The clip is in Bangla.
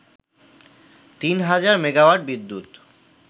তিন হাজার মেগাওয়াট বিদ্যুৎ